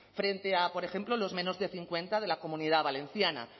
frente a por ejemplo los menos de cincuenta de la comunidad valenciana